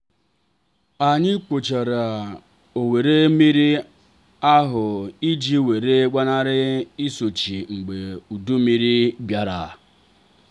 anyị kpochara ọwara mmiri ahụ iji wee gbanari nsuchi mgbe udu mmiri bịara.